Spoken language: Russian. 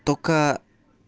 только